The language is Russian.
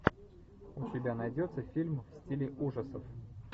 у тебя найдется фильм в стиле ужасов